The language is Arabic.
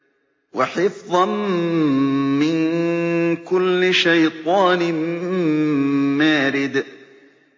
وَحِفْظًا مِّن كُلِّ شَيْطَانٍ مَّارِدٍ